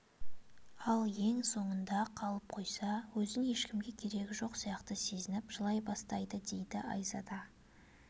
ал ең соңында қалып қойса өзін ешкімге керегі жоқ сияқты сезініп жылай бастайды дейді айзада